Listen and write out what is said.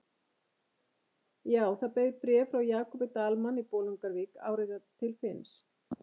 Já, það beið bréf frá Jakobi Dalmann í Bolungarvík, áritað til Finns.